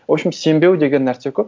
в общем сенбеу деген нәрсе көп